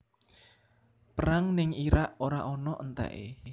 Perang ning Irak ora ono enteke